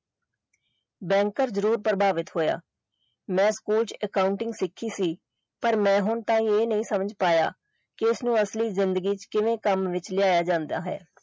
Banker ਜਰਰੋਰ ਪ੍ਰਭਾਵਿਤ ਹੋਇਆ ਮੈਂ accounting ਸਿੱਖੀ ਸੀ ਪਰ ਮੈਂ ਹੁਣ ਤੱਕ ਇਹ ਨਹੀਂ ਸਮਝ ਪਾਇਆ ਕਿ ਇਸਨੂੰ ਅਸਲੀ ਜਿੰਦਗੀ ਵਿੱਚ ਕਿਵੇਂ ਕੰਮ ਵਿੱਚ ਲਿਆਇਆ ਜਾਂਦਾ ਹੈ।